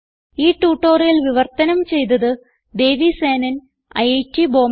ഈ ട്യൂട്ടോറിയൽ വിവർത്തനം ചെയ്തത് ദേവി സേനൻ ഐറ്റ് ബോംബേ